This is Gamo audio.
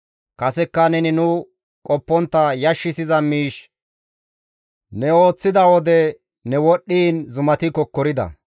Kasekka neni nu qoppontta yashissiza miish ne ooththida wode ne wodhdhiin zumati kokkorida.